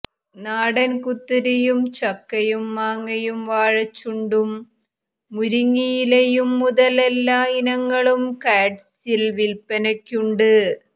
നാടൻ കുത്തരിയും ചക്കയും മാങ്ങയും വാഴച്ചൂണ്ടും മുരിങ്ങയിലയുംമുതൽ എല്ലാ ഇനങ്ങളും കാഡ്സിൽ വിൽപ്പനയ്ക്കുണ്ട്